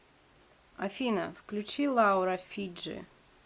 афина включи лаура фиджи